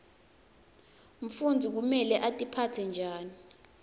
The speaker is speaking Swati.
mfundzi kumele atiphatse njani